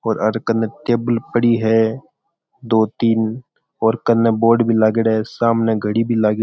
और एन कने टेबल पड़ी है दो तीन और कने बोर्ड भी लागेड़ा है और सामे घड़ी भी लागेड़ी है।